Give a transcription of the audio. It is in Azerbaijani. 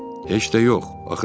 Heç də yox, axı nə üçün?